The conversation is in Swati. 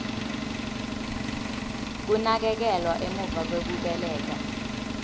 kunakekelwa emuva kwekubeleka